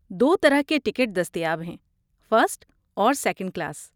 دو طرح کے ٹکٹ دستیاب ہیں، فرسٹ اور سیکنڈ کلاس۔